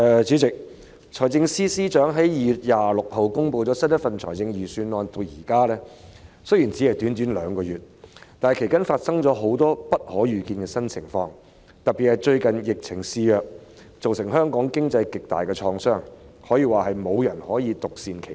主席，財政司司長在2月26日公布新一份財政預算案至今，雖然只是短短兩個月，但其間卻發生了很多不可預見的新情況，特別是最近疫情肆虐，對香港經濟造成極大創傷，可以說無人能夠獨善其身。